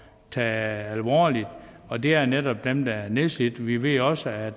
tage alvorligt og det er netop dem der er nedslidte vi ved også at